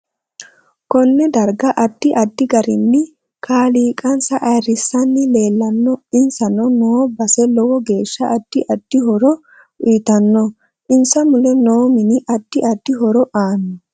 Konne darga addi addi garinni kaliiqansa ayiirisanni leelanno insa noo base lowo geesha addi addi horo uyiitanno insa mule noo mini addi addi horo aano